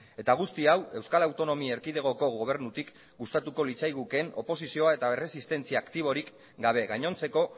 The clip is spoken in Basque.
eta guzti hau euskal autonomia erkidegoko gobernutik gustatuko litzaigukeen oposizioa eta erresistentzia aktiborik gabe gainontzeko